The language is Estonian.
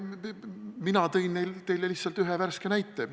Mina tõin teile lihtsalt ühe värske näite.